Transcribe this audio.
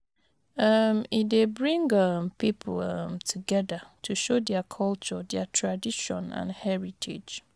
um E dey bring um pipo um togeda to show dia culture, dia tradition and heritage